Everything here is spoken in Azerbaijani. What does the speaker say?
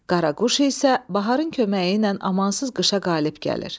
Qaraquş isə baharın köməyi ilə amansız qışa qalib gəlir.